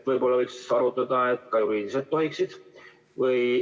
Võib-olla võiks arutada seda, et ka juriidilised tohiksid.